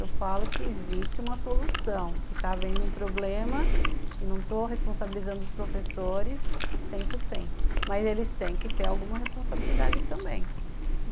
eu falo que existe uma solução, que está havendo um problema e não estou responsabilizando os professores cem por cento, mas eles têm que ter alguma responsabilidade também.